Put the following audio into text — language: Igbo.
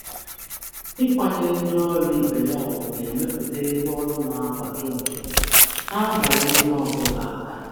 Ịsọpụrụ ndị ọrụ ibe na-emepụta ọnọdụ ọrụ na-akwado nke na-abara onye ọ bụla uru.